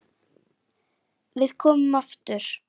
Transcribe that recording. Við komum aftur.